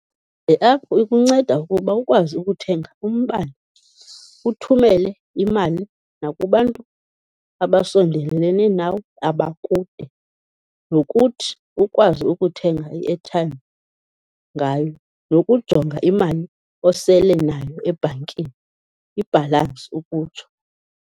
Iephu ikunceda ukuba ukwazi ukuthenga umbane, uthumele imali nakubantu abasondelelene nawe abakude, nokuthi ukwazi ukuthenga i-airtime ngayo, nokujonga imali osele nayo ebhankini, ibhalansi ukutsho.